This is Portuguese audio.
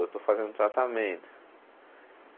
Eu estou fazendo tratamento.